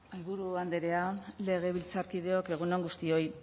mahaiburu andrea legebiltzarkideok egun on guztioi